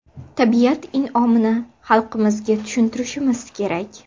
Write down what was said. Tabiat in’omini xalqimizga tushuntirishimiz kerak.